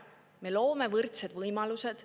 Me loome võrdsed võimalused.